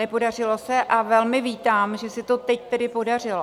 Nepodařilo se a velmi vítám, že se to tedy teď podařilo.